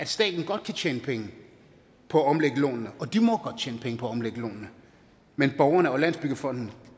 staten godt kan tjene penge på at omlægge lånene og de må godt tjene penge på at omlægge lånene men borgerne og landsbyggefonden